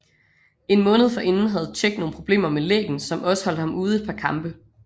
En måned forinden havde Čech nogle problemer med læggen som også holdt ham ude et par kampe